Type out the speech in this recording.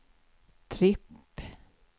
tripp